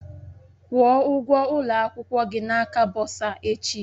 Kwụọ ụgwọ ụlọ akwụkwọ gị na aka bọsa echi!